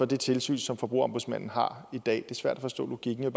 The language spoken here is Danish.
det tilsyn som forbrugerombudsmanden har i dag det er svært at forstå logikken jeg